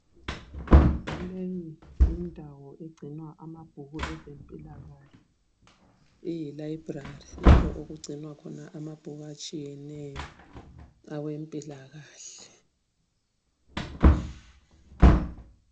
Leyi yindawo egcinwa amabhuku ezempilakahle eyi library. Lapho okugcinwa khona amabhuku atshiyeneyo awempilakahle.